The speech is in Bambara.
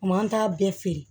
O m'an t'a bɛɛ feere